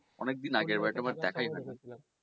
অনেক দিন আগে এটা